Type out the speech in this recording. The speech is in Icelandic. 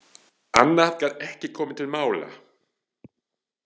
Annað gat ekki komið til mála.